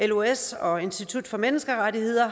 los og institut for menneskerettigheder